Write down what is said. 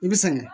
I bɛ sɛgɛn